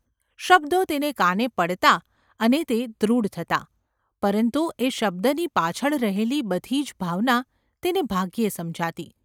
શબ્દો તેને કાને પડતા અને તે દૃઢ થતા, પરંતુ એ શબ્દની પાછળ રહેલી બધી જ ભાવના તેને ભાગ્યે સમજાતી.